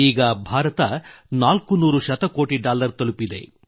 ಈಗ ಭಾರತ 400 ಶತಕೋಟಿ ಡಾಲರ್ ತಲುಪಿದೆ